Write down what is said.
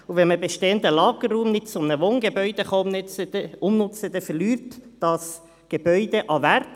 Wenn man bestehenden Lagerraum eines Wohngebäudes nicht umnutzen kann, verliert das Gebäude an Wert.